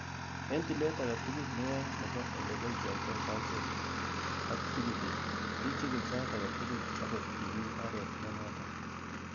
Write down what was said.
En tilet agetugul neyoe nebo ele boishiotoi saisiekuk ak tugukuk, ichigil sait agetugul angot imi oret nenoton.